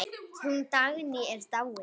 Hún Dagný er dáin.